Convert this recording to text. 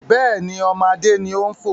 Bẹ́ẹ̀ni, ọmọ Adé ni ó ń fò